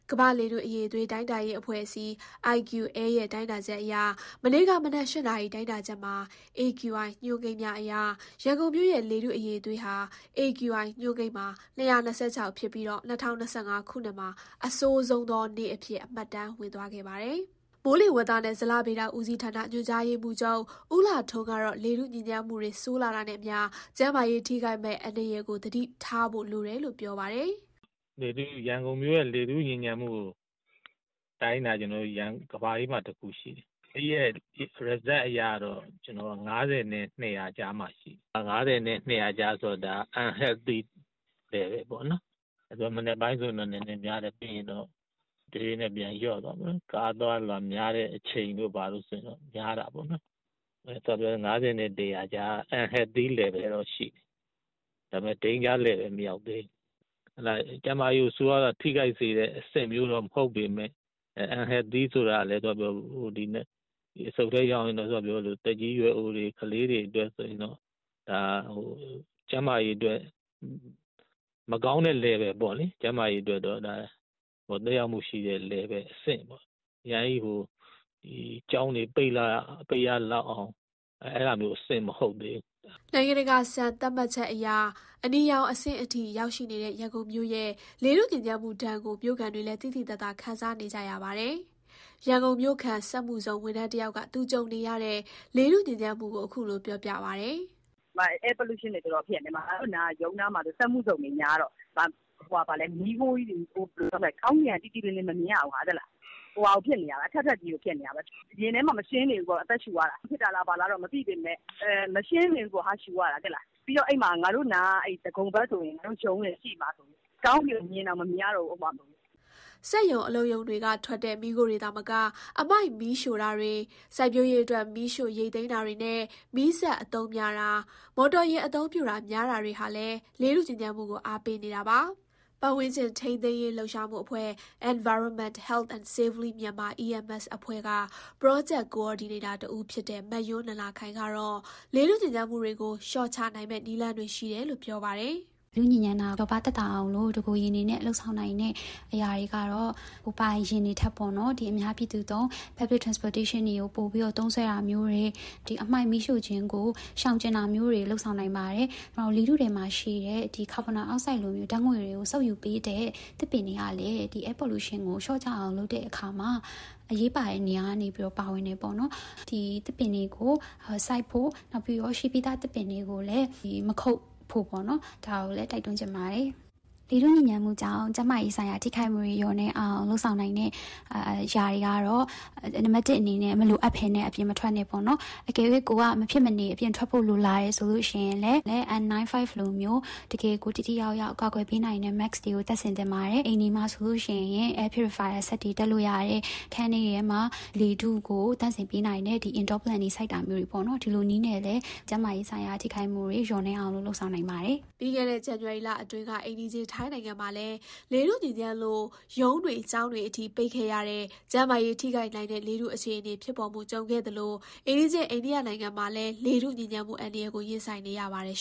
ကမ္ဘာ့လေထု အရည်အသွေးတိုင်းတာရေးအဖွဲ့အစည်း ရဲ့ မနေ့က မနက် ၈ နာရီမှာတိုင်းတာတဲ့ AQI ညွှန်းကိန်းအရ ရန်ကုန်မြို့ ရဲ့ လေထုအရည်အသွေးဟာ AQI ညွှန်းကိန်းမှာ ရှိနေပြီး ဒါဟာ ခုနှစ်နှစ်အစမှာပဲ အဆိုးဆုံးနေ့အဖြစ် မှတ်တမ်းဝင်သွားခဲ့ပါတယ်။ မိုးလေဝသနဲ့ဇလဗေဒဦးစီးဌာန ညွှန်ကြားရေးမှူးချုပ် ဦးလှထွန်းကတော့ လေထုညစ်ညမ်းမှု ဆိုးလာတာနဲ့အမျှ ကျန်းမာရေးထိခိုက်မယ့်အန္တရာယ်ကို သတိထားဖို့လိုတယ်လို့ ပြောပါတယ်။ “ရန်ကုန်လေထုညစ်ညမ်းမှုကိုတိုင်းတာက ကမ္ဘာအေးမှာတခုရှိတယ်။ ဒီတိုင်းတာချက်အရကတော့ ၅၀ နဲ့ ၂၀၀ ကြားရှိတယ်။ ၅၀ နဲ့ ၂၀၀ ကြားဆိုတော့ unhealthy level (ကျန်းမာရေးအတွက် မသင့်လျော်တဲ့ အဆင့်) ပေါ့။ မနက်ပိုင်းဆိုများတယ်။ ပြီးရင် တဖြည်းဖြည်းလျော့သွားတယ်။ ကားအသွားအလာ များတဲ့အချိန်ဆို များတယ်ပေါ့နော်။ ၅၀ နဲ့ ၂၀၀ ကြားဆိုတော့ unhealthy level ပေမယ့် danger level မရောက်သေးဘူး။ ကျန်းမာရေးကို ဆိုးဝါးစွာထိခိုက်စေတဲ့အဆင့်မျိုး မဟုတ်ပေမယ့် unhealthy level ဆိုတော့ အဆုတ်ထဲရောက်ရင် အသက်ကြီးရွယ်အိုတွေ၊ ကလေးတွေအတွက်တော့ ကျန်းမာရေးအတွက်မကောင်းတဲ့ Level ပေါ့နော်။ ကျန်းမာရေးကို သက်ရောက်နိုင်တဲ့ Level ဖြစ်နေတယ်။ ဒါပေမယ့်ကျောင်းတွေပိတ်ရလောက်တဲ့အဆင့်လောက်တော့ မဟုတ်သေးဘူး။” နိုင်ငံတကာ စံသတ်မှတ်ချက်အရ အနီရောင်အဆင့်အထိရောက်ရှိနေတဲ့ ရန်ကုန်မြို့ရဲ့ လေထုညစ်ညမ်းမှုဒဏ်ကို မြို့ခံတွေလည်း သိသိသာသာ ခံစားနေကြရပါတယ်။ ရန်ကုန်မြို့ခံ စက်မှုဇုံ ဝန်ထမ်းတယောက်က သူကြုံနေရတဲ့ လေထုညစ်ညမ်းမှုကို အခုလို ပြောပြပါတယ်။ "Air Pollution တွေ တော်တော်ဖြစ်နေတာ။ ရုံးနားမှာဆို စက်မှုဇုံတွေများတော့ မီးခိုးကြီးတွေနဲ့ ကောင်းကင်က ကြည်ကြည်လင်လင်မမြင်ရဘူး။ အထပ်ထပ်ကြီးတွေဖြစ်နေတယ်။ ရင်ထဲမှာမရှင်းနေဘူး။ အသက်ရှုရတာ။ အဲဒါကြောင့်ဖြစ်နေလဲ၊ ဘာလဲ မသိပေမယ့် မရှင်းနေဘူးပေါ့ အသက်ရှုရတာ။ ရုံးနားက ဒဂုံဘက်မှာဆိုကောင်းကင်ကိုမြင်တောင်မမြင်ရတော့ဘူး။" စက်ရုံ၊ အလုပ်ရုံတွေကထွက်တဲ့ မီးခိုးတွေသာမက အမှိုက်မီးရှို့တာတွေ၊ စိုက်ပျိုးရေးအတွက် မီးရှို့ ရိတ်သိမ်းတာတွေနဲ့ မီးစက်အသုံးများတာ၊ မော်တော်ယာဉ် အသုံးများတာတွေဟာလည်း လေထု ညစ်ညမ်းမှုကို အားပေးနေတာပါ။ ပတ်ဝန်းကျင် ထိန်းသိမ်းရေးလှုပ်ရှားမှုအဖွဲ့ Environment, Health and Safely Myanmar အဖွဲ့က Project Coordinator တဦးဖြစ်တဲ့ မယွန်းနန္ဒာခိုင် ကတော့ လေထုညစ်ညမ်းမှုတွေကို လျှော့ချနိုင်မယ့်နည်းလမ်းတွေ ရှိတယ်လို့ ပြောပါတယ်။ “လေထုညစ်ညမ်းတာကိုလျော့ပါးအောင်လို့ တကိုယ်ရည်လုပ်နိုင်တဲ့အရာတွေကတော့ ကိုယ်ပိုင် ယာဉ်တွေထက် Public Transportation တွေကို ပိုသုံးစွဲတာမျိုး၊ အမှိုက်မီးရှို့တာကို ရှောင်တာမျိုးတွေ လုပ်နိုင်တယ်။ နောက်လေထုထဲရှိတဲ့ ကာဗွန်ဒိုင်အောက်ဆိုဒ်ကိုစုပ်ယူပေးတဲ့သစ်ပင်တွေကလည်း ဒီလေထုညစ်ညမ်းမှုကို လျော့အောင်လုပ်တဲ့အခါမှာ အရေးပါတဲ့နေရာကနေပါဝင်တယ်။ ဒီတော့ သစ်ပင်တွေစိုက်ဖို့ရှိပြီးသားသစ်ပင်တွေကို မခုတ်ဖို့ တိုက်တွန်းချင်တယ်။ ကျန်းမာရေး ထိခိုက်တာ လျော့နည်းအောင် လုပ်ဖို့ဆိုရင် နံပါတ် ၁ ဆို မလိုအပ်ဘဲအပြင်မထွက်နဲ့ပေါ့နော်။ ထွက်ခဲ့ရင်လည်း N 95 လို တကယ်ကိုထိထိရောက်ရောက်ကာကွယ်နိုင်တဲ့ mask မျိုးတပ်သင့်တယ်။ အိမ်တွေမှာဆို air purifier စက်တွေတပ်တာ။ နောက်အခန်းထဲမှာ လေထုကိုသန့်စင်ပေးတဲ့ Indoor plant တွေစိုက်တာ မျိုး အဲလိုတွေနဲ့ကျန်းမာရေးဆိုင်ရာထိခိုက်မှုတွေကိုကာကွယ်နိုင်ပါတယ်။” ပြီးခဲ့တဲ့ ဇန်နဝါရီလအတွင်းက အိမ်နီးချင်းထိုင်းနိုင်ငံမှာလည်း လေထုညစ်ညမ်းလို့ ရုံးတွေ ကျောင်းတွေပိတ်ခဲ့ရတဲ့အထိ ကျန်းမာရေးထိခိုက်နိုင်တဲ့ လေထုညစ်ညမ်းခဲ့သလို အိမ်နီးချင်း အိန္ဒိယနိုင်ငံမှာလည်း လေထုညစ်ညမ်းမှုအန္တရာယ်ကို ရင်ဆိုင်နေရပါတယ်